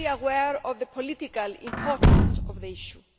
I am fully aware of the political importance of this issue.